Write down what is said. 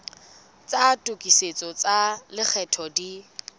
tsa tokisetso tsa lekgetho di